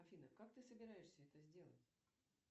афина как ты собираешься это сделать